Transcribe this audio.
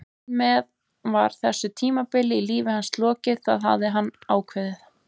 Þar með var þessu tímabili í lífi hans lokið, það hafði hann ákveðið.